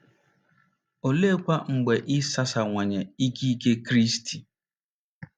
Oleekwa mgbe e sasawanye ikike Kristi?